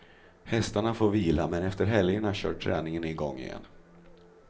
Hästarna får vila men efter helgerna kör träningen igång igen.